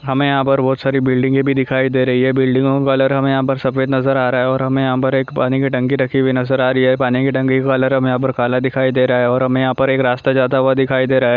हमें यहाँ पर बहुत सारी बिल्डिंगे भी दिखाई दे रही है बिल्डिंगे कलर हमें सफ़ेद नजर आरहा है हमें यह पर के पानी की टंकी भी नजर आरही है पानी के टंकी का कलर यहाँ पे काला दिखाई दे रहा है और हमें यहाँ पर एक रास्ता जाता हुआ दिखाई दे रहा है|